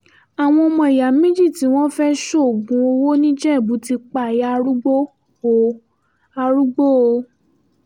àwọn ọmọ ìyá méjì tí wọ́n fẹ́ẹ́ ṣoògùn owó nìjẹ̀bù ti pa ìyá arúgbó o arúgbó o